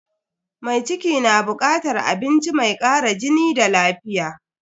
Mai ciki na bukatar abinci mai kara jini da lafiya.